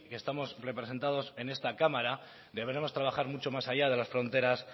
estamos representados en esta cámara deberemos trabajar mucho más allá de las fronteras